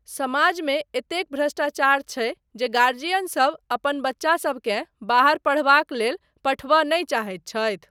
समाजमे एतेक भ्रष्टाचार छै जे गर्जियन सब अपना बच्चासबकेँ बाहर पढ़बाक लेल पठयबा नहि चाहैत छथि।